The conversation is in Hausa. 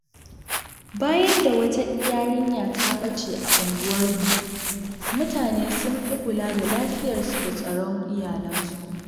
Bayan da wata yarinya ta bace a unguwarmu, mutane sun fi kula da lafiyarsu da tsaron iyalansu.